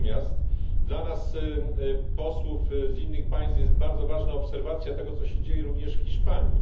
Natomiast dla nas, posłów z innych państw, bardzo ważna jest obserwacja tego, co się dzieje również w Hiszpanii.